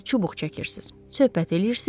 Siz çubuq çəkirsiniz, söhbət eləyirsiz.